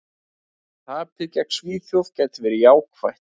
Tapið gegn Svíþjóð gæti verið jákvætt.